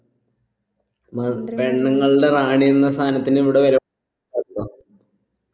മ പെണ്ണുങ്ങളുടെ റാണി എന്ന സാനത്തിന് ഇവിടെ വില